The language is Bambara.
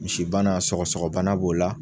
Misibana sɔgɔsɔgɔbana b'o la